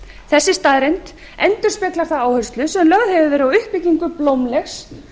þessi staðreynd endurspeglar þá áherslu sem lögð hefur verið á uppbyggingu blómlegs